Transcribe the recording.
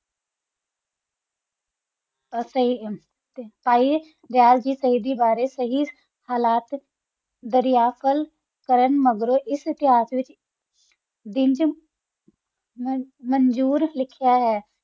ਪਰ ਸੀ ਪਾਹਿ ਦਯਾਲ ਜੀ ਸੀਦ ਦਾ ਬਾਰਾ ਦਾਰਾਯਲ ਕਲ ਕਰਨ ਮੇਗ੍ਰੋ ਏਕ ਤਾਯਾਜ ਦਾ ਵਾਤ੍ਚ ਦਿਨ ਮੰਜੂਰ ਲਿਖਿਆ ਹ